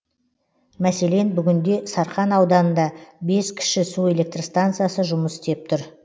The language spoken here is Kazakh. мәселен бүгінде сарқан ауданында бес кіші су электр станциясы жұмыс істеп тұр